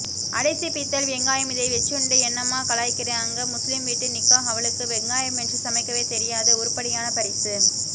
அடைசீ பீத்தல் வெங்காயம் இதைவெச்சுண்டு என்னமா கலாய்கிறாங்க முஸ்லீம் வீட்டு நிக்காஹ் அவாளுக்கு வெங்காயமின்றி சமைக்கவேதெரியாது உருப்படியான பரிசு